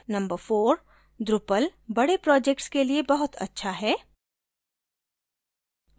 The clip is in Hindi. number 4: drupal बड़े प्रॉजेक्ट्स के लिए बहुत अच्छा है